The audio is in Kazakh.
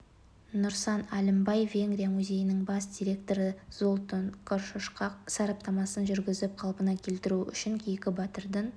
нұрсан әлімбай венгрия музейінің бас директоры золтан коршошқа сараптамасын жүргізіп қалпына келтіру үшін кейкі батырдың